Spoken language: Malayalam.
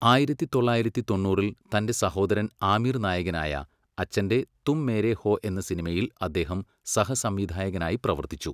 ആയിരത്തി തൊള്ളായിരത്തി തൊണ്ണൂറിൽ തൻ്റെ സഹോദരൻ ആമിർ നായകനായ, അച്ഛൻ്റെ 'തും മേരെ ഹോ' എന്ന സിനിമയിൽ അദ്ദേഹം സഹസംവിധായകനായി പ്രവർത്തിച്ചു.